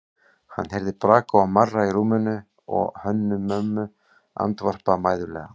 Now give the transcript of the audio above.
Hann heyrði braka og marra í rúminu og Hönnu-Mömmu andvarpa mæðulega.